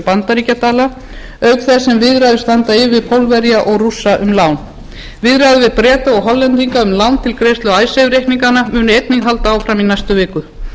bandaríkjadala auk þess sem viðræður standa yfir við pólverja og rússa um lán viðræður við breta og hollendinga um lán til greiðslu icesave reikninganna munu einnig halda áfram í næstu viku